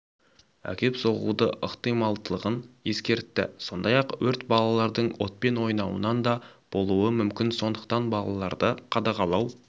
әкеп соғуы ықтималдығын ескертті сондай-ақ өрт балалардың отпен ойнауынан да болуы мүмкін сондықтан балаларды қадағалау